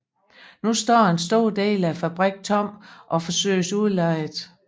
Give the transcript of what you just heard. Nu står en stor del af fabrikken tom og forsøges udlejet